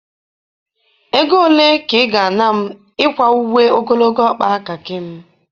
Ego ole ka ị ga-ana m ịkwa uwe ogologo ọkpa Kakị m?